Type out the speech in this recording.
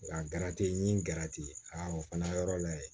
Nka n ye n gɛrɛ ten o fana yɔrɔ la ye